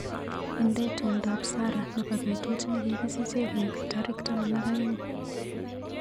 Inde tumndop Sarah nebo betut nekikisiche koek tarik taman ak aeng.